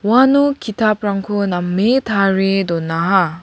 uano ki·taprangko name tarie donaha.